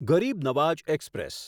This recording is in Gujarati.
ગરીબ નવાઝ એક્સપ્રેસ